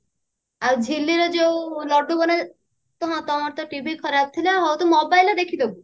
ହଁ ଆଉ ଝିଲିର ଯଉ ଲଡ୍ଡୁ ବନା ହଁ ତମର ତ TV ଖରାପ ଥିଲା ହଉ ତୁ mobile ରେ ଦେଖିଦବୁ